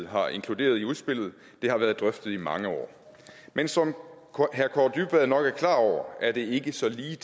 har inkluderet i udspillet det har været drøftet i mange år men som herre kaare dybvad nok er klar over er det ikke så ligetil